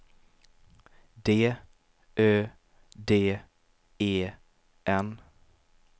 D Ö D E N